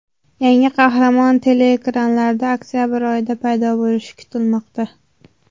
Yangi qahramon teleekranlarda oktabr oyida paydo bo‘lishi kutilmoqda.